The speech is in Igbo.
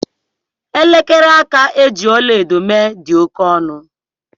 Elekere aka e ji ọla edo mee dị oke ọnụ